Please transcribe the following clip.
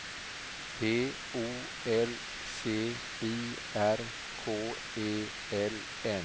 P O L C I R K E L N